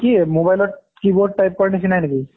ই কি mobile ত keyboard type কৰা নিচিনা নেকি?